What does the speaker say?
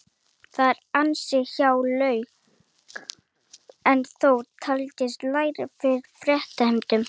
Það eru ansi há laun en þó talsvert lægri en fyrstu fréttir hermdu.